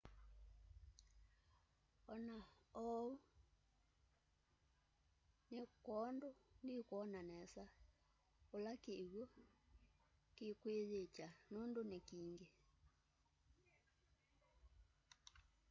ona oou ni kwoondũ ndwiona nesa kula kiwũ kĩkwĩnyĩkya nũndũ ni kĩngi